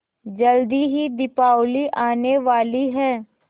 जल्दी ही दीपावली आने वाली है